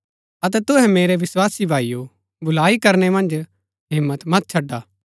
अतै तुहै मेरै विस्वासी भाईओ भलाई करनै मन्ज हिम्मत मत छड़ा